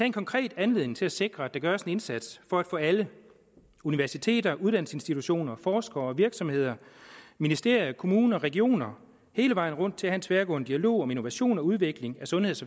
en konkret anledning til at sikre at der gøres en indsats for at få alle universiteter uddannelsesinstitutioner forskere virksomheder ministerier kommuner regioner hele vejen rundt til at have en tværgående dialog om innovation og udvikling af sundheds